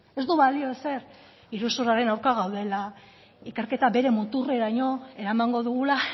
ez du balio ezer iruzurraren aurka gaudela ikerketa bere muturreraino eramango dugula